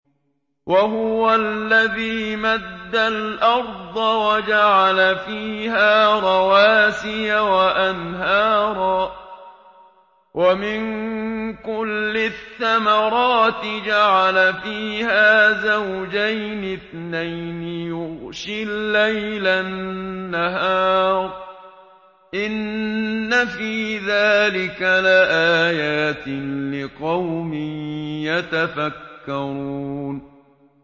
وَهُوَ الَّذِي مَدَّ الْأَرْضَ وَجَعَلَ فِيهَا رَوَاسِيَ وَأَنْهَارًا ۖ وَمِن كُلِّ الثَّمَرَاتِ جَعَلَ فِيهَا زَوْجَيْنِ اثْنَيْنِ ۖ يُغْشِي اللَّيْلَ النَّهَارَ ۚ إِنَّ فِي ذَٰلِكَ لَآيَاتٍ لِّقَوْمٍ يَتَفَكَّرُونَ